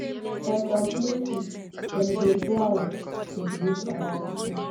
for some places dem dey bow to greet oda pipo